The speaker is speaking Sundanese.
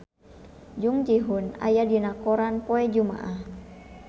Jung Ji Hoon aya dina koran poe Jumaah